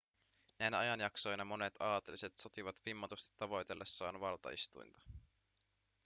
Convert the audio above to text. näinä ajanjaksoina monet aateliset sotivat vimmatusti tavoitellessaan valtaistuinta